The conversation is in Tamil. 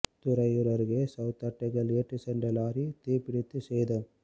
துறையூா் அருகே சோளத்தட்டைகள்ஏற்றிச் சென்ற லாரி தீப்பிடித்து சேதம்